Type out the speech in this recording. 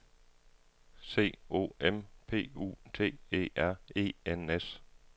C O M P U T E R E N S